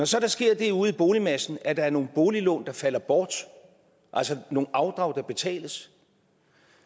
så sker det ude i boligmassen at der er nogle boliglån der falder bort altså nogle afdrag der betales